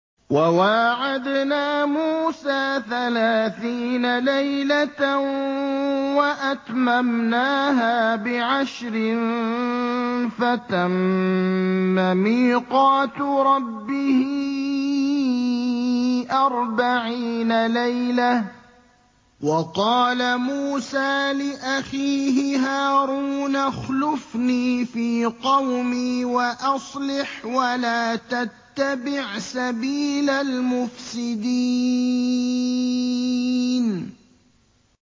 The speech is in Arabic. ۞ وَوَاعَدْنَا مُوسَىٰ ثَلَاثِينَ لَيْلَةً وَأَتْمَمْنَاهَا بِعَشْرٍ فَتَمَّ مِيقَاتُ رَبِّهِ أَرْبَعِينَ لَيْلَةً ۚ وَقَالَ مُوسَىٰ لِأَخِيهِ هَارُونَ اخْلُفْنِي فِي قَوْمِي وَأَصْلِحْ وَلَا تَتَّبِعْ سَبِيلَ الْمُفْسِدِينَ